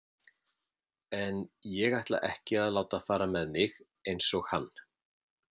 En ég ætla ekki að láta fara með mig eins og hann.